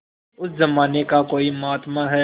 उस जमाने का कोई महात्मा है